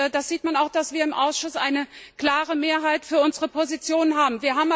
Das sieht man auch daran, dass wir im Ausschuss eine klare Mehrheit für unsere Position haben.